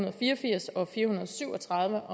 og fire og firs og fire hundrede og syv og tredive